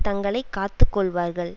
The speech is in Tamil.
தங்களை காத்து கொள்வார்கள்